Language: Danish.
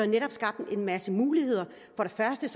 netop skabt en masse muligheder for det første